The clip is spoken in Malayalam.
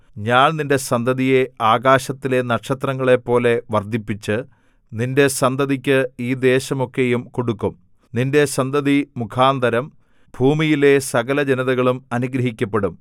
ഞാൻ നിന്റെ സന്തതിയെ ആകാശത്തിലെ നക്ഷത്രങ്ങളെപ്പോലെ വർദ്ധിപ്പിച്ച് നിന്റെ സന്തതിക്ക് ഈ ദേശമൊക്കെയും കൊടുക്കും നിന്റെ സന്തതി മുഖാന്തരം ഭൂമിയിലെ സകലജനതകളും അനുഗ്രഹിക്കപ്പെടും